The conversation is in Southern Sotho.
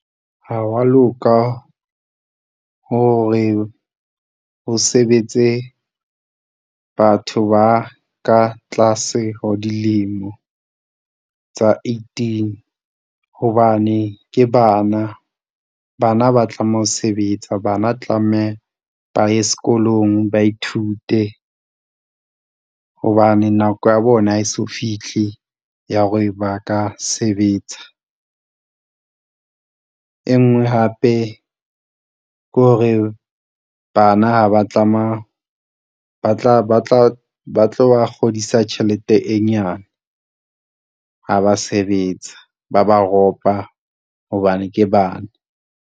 Ha wa loka hore ho sebetse batho ba ka tlase ho dilemo tsa eighteen hobane ke bana. Bana ba tlameha ho sebetsa bana tlameha ba ye sekolong, ba ithute hobane nako ya bona ha eso fihle ya hore ba ka sebetsa. E nngwe hape ke hore bana ha ba tlameha, ba tlo ba kgodisa tjhelete e nyane, ha ba sebetsa, ba ba ropa hobane ke bana.